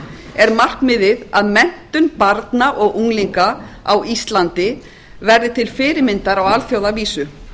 er markmiðið að menntun barna og unglinga á íslandi verði til fyrirmyndar á alþjóðavísu